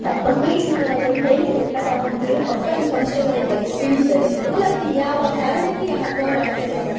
ಮಕ್ಳಿಗೆ ನಾವು ಅದನ್ನ್ ಹೇಳಿ ಕೊಟ್ಟಾಗ ಅವ್ರಿಗೆ ಹಬ್ಬದ ಸಂಪ್ರದಾಯದ್ ಬಗ್ಗೆ ತಿಳಿತದೆ ಮೂಲತಃ ಯಾವ ಕಾರಣಕ್ಕೆ ಈ ಹಬ್ಬವನ್ನ ಆಚರಣೆ ಮಾಡ್ತಾರೆ